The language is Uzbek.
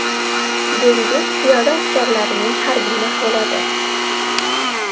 Dengiz piyoda askarlarining harbiy mashg‘uloti.